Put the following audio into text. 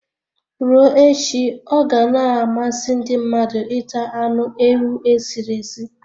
Ruo echi ọ ga na-amasị ndị mmadụ ita anụ ewu e sịrị esi